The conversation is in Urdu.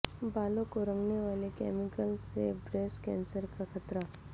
بالوں کو رنگنے والے کیمیکلز سے بریسٹ کینسر کا خطرہ